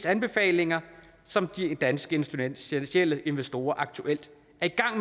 anbefalinger som de danske finansielle investorer aktuelt